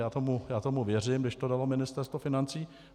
Já tomu věřím, když to dalo Ministerstvo financí.